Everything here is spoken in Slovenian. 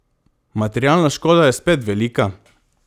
Materialna škoda je spet velika.